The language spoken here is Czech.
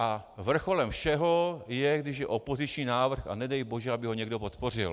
A vrcholem všeho je, když je opoziční návrh, a nedej bože, aby ho někdo podpořil.